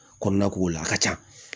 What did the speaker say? Kɔnɔna ko la a ka ca